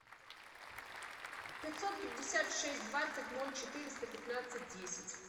пятьсот пятьдесят шесть двадцать ноль четыреста пятнадцать десять